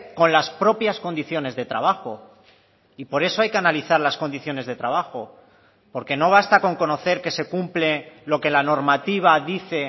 con las propias condiciones de trabajo y por eso hay que analizar las condiciones de trabajo porque no basta con conocer que se cumple lo que la normativa dice